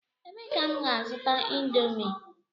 Ebee ka m ga-azuta indomie?